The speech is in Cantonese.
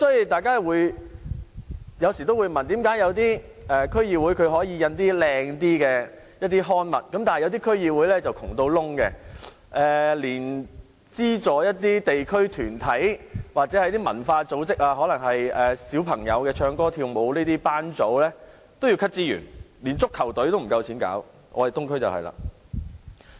大家有時會問，為何有些區議會可以印刷比較精美的刊物，但有些區議會則十分貧窮，連資助一些地區團體或文化組織活動，例如教小朋友唱歌跳舞的班組也要削減資源，即使是成立足球隊也不夠錢，我們的東區正正就是這個情況。